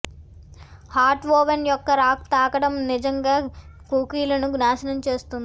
hot oven యొక్క rack తాకడం నిజంగా కుకీలను నాశనం చేస్తుంది